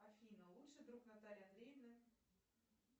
афина лучший друг натальи андреевны